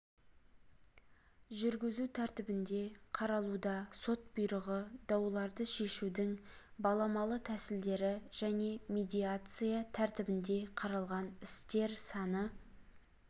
жүргізу тәртібінде қаралуда сот бұйрығы дауларды шешудің баламалы тәсілдері және медиация тәртібінде қаралған істер саны